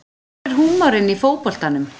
Hvar er húmorinn í fótboltanum